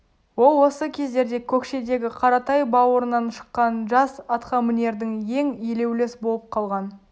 ол осы кездерде көкшедегі қаратай бауырынан шыққан жас атқамінердің ең елеуліс болып қалған